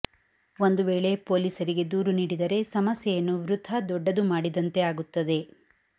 ಒಂದು ವೇಳೆ ಪೊಲೀಸರಿಗೆ ದೂರು ನೀಡಿದರೆ ಸಮಸ್ಯೆಯನ್ನು ವೃಥಾ ದೊಡ್ಡದು ಮಾಡಿದಂತೆ ಆಗುತ್ತದೆ